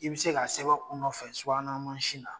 I bi se ka sɛbɛn u nɔfɛ subahanamanzin na.